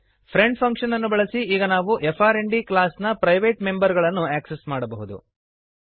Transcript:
friend function ಅನ್ನು ಬಳಸಿ ಈಗ ನಾವು ಫ್ರ್ಂಡ್ ಕ್ಲಾಸ್ ನ ಪ್ರೈವೇಟ್ ಮೆಂಬರ್ ಗಳನ್ನು ಆಕ್ಸೆಸ್ ಮಾಡಬಹುದು